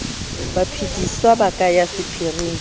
baphedisuwa ba ka ya sephiring